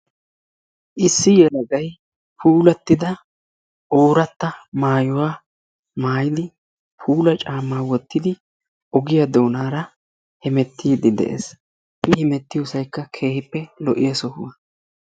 issi yelagay puulatida oorata maayuwa maayidi puula caamaa wotidi ogiya doonara hemetiidi de'ees, i hemmetiyosaykka keehippe puulatidaaga.